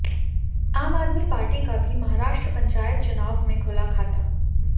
आम आदमी पार्टी का भी महाराष्ट्र पंचायत चुनाव में खुला खाता